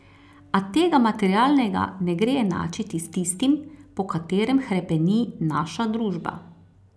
A tega materialnega ne gre enačiti s tistim, po katerem hrepeni naša družba.